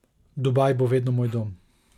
Dubaj bo vedno moj dom.